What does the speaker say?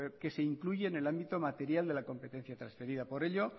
que se incluye en el ámbito materia de la competencia transferida por ello